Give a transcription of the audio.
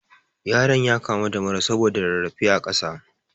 Yaron ya kamu da mura saboda rarrafe a ƙasa